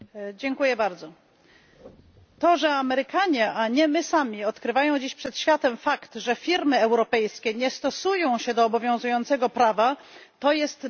To, że Amerykanie, a nie my sami, odkrywają dziś przed światem fakt, że firmy europejskie nie stosują się do obowiązującego prawa, to jest dla nas po prostu wielki wstyd.